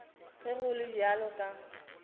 ge go le bjalo ka